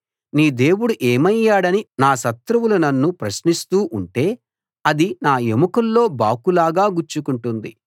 నీ దేవుడు ఏమయ్యాడని నా శత్రువులు నన్ను ప్రశ్నిస్తూ ఉంటే అది నా ఎముకల్లో బాకులాగా గుచ్చుకుంటుంది